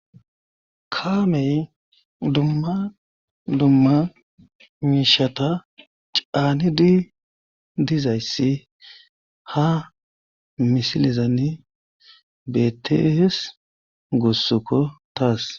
Kaamey dumma dumma miishata caani di dizayssi ha misilizani betees gossoko taas